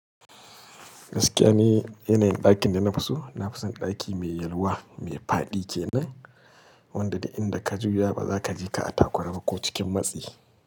Gaskiya ne, yanayin ɗakin da na fi so, na fi son ɗaki mai yalwa mai faɗi ke nan, wanda duk inda ka juya ba za ka je ka a takura ba ko cikin matsi.